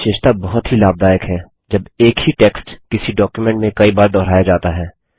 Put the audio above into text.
यह विशेषता बहुत ही लाभदायक है जब एक ही टेक्स्ट किसी डॉक्युमेंट में कई बार दुहराया जाता है